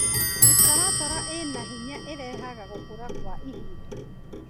Mĩtaratara ĩna hinya ĩrehaga gũkũra kwa ihinda.